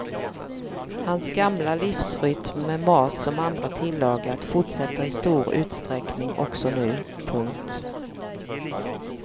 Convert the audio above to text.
Hans gamla livsrytm med mat som andra tillagat fortsätter i stor utsträckning också nu. punkt